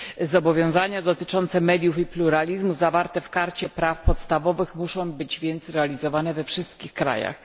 Zobowiązania dotyczące mediów i pluralizmu zawarte w Karcie praw podstawowych muszą być więc realizowane we wszystkich krajach.